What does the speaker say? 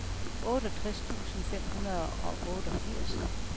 otteogtres tusind fem hundrede og otteogfirs